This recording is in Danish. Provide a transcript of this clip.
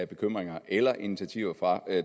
bekymring eller initiativer fra